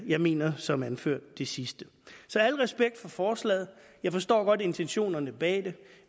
jeg mener som anført det sidste så al respekt for forslaget jeg forstår godt intentionerne bag det